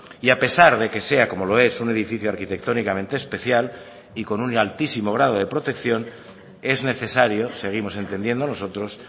y a pesar de que sea como lo es un edificio arquitectónicamente especial y con un altísimo grado de protección es necesario seguimos entendiendo nosotros